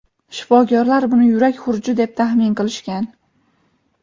shifokorlar buni yurak xuruji deb taxmin qilishgan.